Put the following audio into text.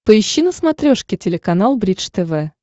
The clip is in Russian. поищи на смотрешке телеканал бридж тв